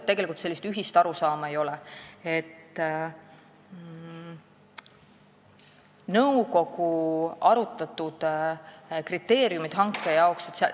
Nõukogu arutas neid hankekriteeriume.